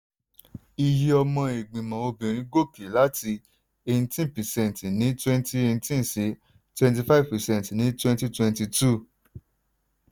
iye ọmọ ìgbìmọ̀ obìnrin gòkè láti eighteen percent ní twenty eighteen sí twenty five percent ní twwnty twenty two.